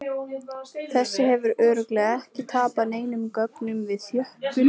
Þessi hefur örugglega ekki tapað neinum gögnum við þjöppun!